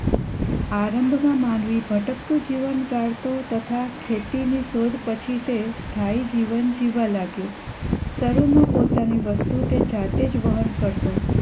પ્રારંભ માં માનવી ભટકતું જીવન ગાળતો તથા ખેતી ની શોધ થઇ પછી તે સ્થાય જીવન જીવવા લાગ્યો શરૂ માં પોતાની વસ્તુ તે જાતે જ વહન કરતો